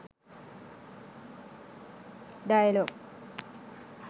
dialog